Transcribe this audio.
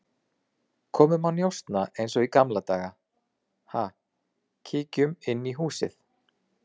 Komum að njósna eins og í gamla daga, ha, kíkjum inn í húsið